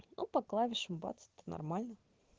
по клавишам бац это нормально